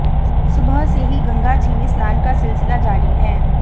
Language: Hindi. सुबह से ही गंगा जी में स्नान का सिलसिला जारी है